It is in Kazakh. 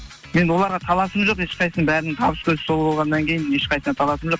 мен оларға таласым жоқ ешқайсысының бәрінің табыс көзі сол болғаннан кейін ешқайсысына таласым жоқ